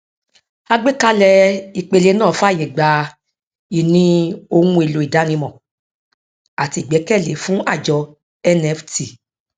àgbékalẹ ìpele náà fààyè gba ìní ohun èèlò ìdánimọ àti ìgbẹkẹlé fún àjọ nft